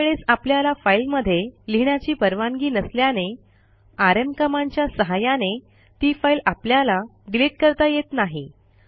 काही वेळेस आपल्याला फाईलमध्ये लिहिण्याची परवानगी नसल्याने आरएम कमांडच्या सहाय्याने ती फाईल आपल्याला डिलिट करता येत नाही